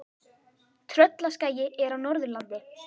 Tröllaskagi er á Norðurlandi.